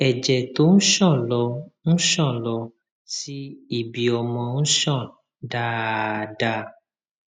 ẹjẹ tó ń ṣàn lọ ń ṣàn lọ sí ibiọmọ ń ṣàn dáadáa